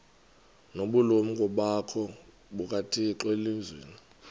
nobulumko bukathixo elizwini